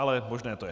Ale možné to je.